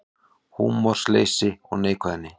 Húmorsleysi og neikvæðni